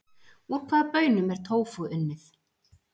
Úr hvaða baunum er tófú unnið?